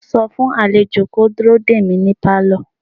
sọ fún àlejò kó dúró dè mí ní Pálọ̀!